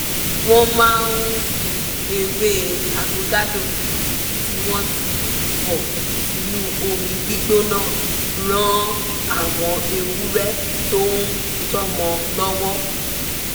wọ́n máa ń fi ewé avokado tí wọ́n ti bọ̀ sínú omi gbígbóná ràn àwọn ewurẹ tó ń tọ́mọ́ lọ́wọ́